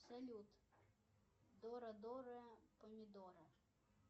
салют дора дора помидора